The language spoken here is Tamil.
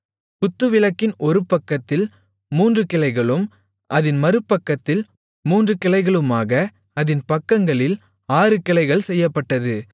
குத்துவிளக்கின் ஒருபக்கத்தில் மூன்று கிளைகளும் அதின் மறுபக்கத்தில் மூன்று கிளைகளுமாக அதின் பக்கங்களில் ஆறு கிளைகள் செய்யப்பட்டது